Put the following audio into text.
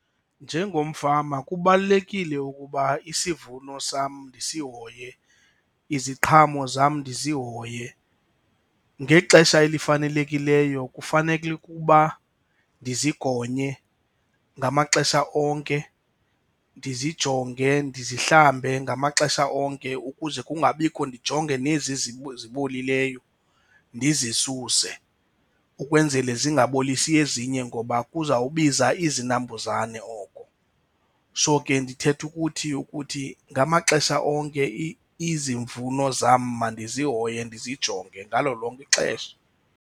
Njengomfama kubalulekile ukuba isivuno sam ndisihoye, iziqhamo zam ndizihoye. Ngexesha elifanelekileyo kufanelekilke ukuba ndizigonye ngamaxesha onke, ndizijonge ndizihlambe ngamaxesha onke ukuze kungabikho. Ndijonge nezi zibolileyo ndizisuse ukwenzele zingabolisi ezinye ngoba kuzawubiza izinambuzane oko. So ke ndithetha ukuthi ukuthi ngamaxesha onke izivuno zam mandizihoye ndizijonge ngalo lonke ixesha.